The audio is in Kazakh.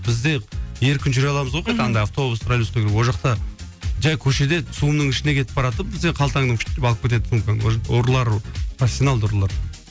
бізде еркін жүре аламыз ғой мхм хоть анда автобус троллейбуста кіріп ол жақта жай көшеде цум ның ішінде кетіп баратып бізде қалтаңнан деп алып кетеді сумкаңды ұрылар профессионалды ұрылар